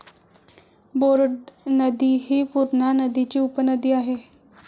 Board नदी हि पूर्णा नदीची उपनदी आहे.